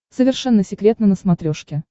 совершенно секретно на смотрешке